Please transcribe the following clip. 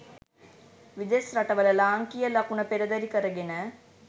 විදෙස් රට වල ලාංකීය ලකුණ පෙරදැරි කරගෙන